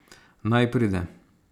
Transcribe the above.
Naj pride.